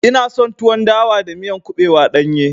Ina son tuwon dawa da miya kuɓewa ɗanye.